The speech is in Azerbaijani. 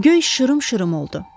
Göy şırım-şırım oldu.